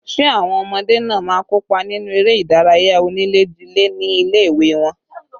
Ṣé àwọn ọmọdé náà má kópa nínú eré ìdárayá onílé-jilé ní ilé ìwé wọn